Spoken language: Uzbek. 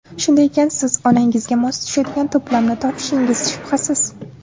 Shunday ekan, siz onangizga mos tushadigan to‘plamni topishingiz shubhasiz.